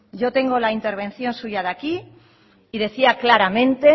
yo tengo la intervención suya de aquí y decía claramente